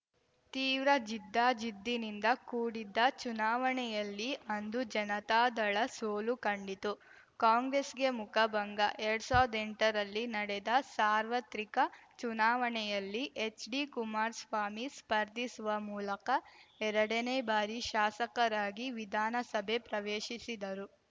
ತೀವ್ರ ಜಿದ್ದಾಜಿದ್ದಿನಿಂದ ಕೂಡಿದ್ದ ಚುನಾವಣೆಯಲ್ಲಿ ಅಂದು ಜನತಾದಳ ಸೋಲು ಕಂಡಿತು ಕಾಂಗ್ರೆಸ್‌ಗೆ ಮುಖಭಂಗ ಎರಡ್ ಸಾವ್ರ್ದ ಎಂಟರಲ್ಲಿ ನಡೆದ ಸಾರ್ವತ್ರಿಕ ಚುನಾವಣೆಯಲ್ಲಿ ಎಚ್‌ಡಿಕುಮಾರ್ಸ್ವಾಮಿ ಸ್ಪರ್ಧಿಸುವ ಮೂಲಕ ಎರಡನೇ ಬಾರಿ ಶಾಸಕರಾಗಿ ವಿಧಾನಸಭೆ ಪ್ರವೇಶಿಸಿದರು